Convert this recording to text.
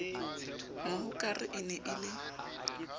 mohokare e ne e le